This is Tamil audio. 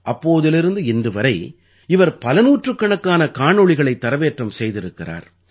அப்போதிலிருந்து இன்று வரை இவர் பல நூற்றுக்கணக்கான காணொளிகளைத் தரவேற்றம் செய்திருக்கிறார்